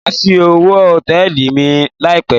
Má á ṣí owo Hòtẹ́lìì mi láì pé.